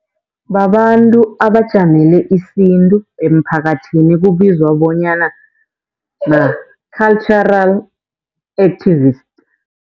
Babantu abajamele isintu emphakathini ekubizwa bonyana ma-cultural activist.